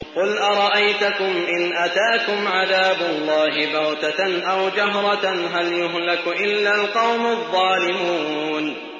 قُلْ أَرَأَيْتَكُمْ إِنْ أَتَاكُمْ عَذَابُ اللَّهِ بَغْتَةً أَوْ جَهْرَةً هَلْ يُهْلَكُ إِلَّا الْقَوْمُ الظَّالِمُونَ